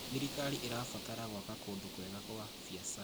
Thirkari ĩrabatara gwaka kũndũ kwega kwa biacara.